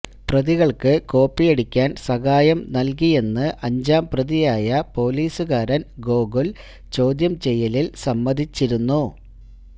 പ്രതികള്ക്ക് കോപ്പിയടിക്കാന് സഹായം നല്കിയെന്ന് അഞ്ചാംപ്രതിയായ പൊലീസുകാരന് ഗോകുല് ചോദ്യംചെയ്യലില് സമ്മതിച്ചിരുന്നു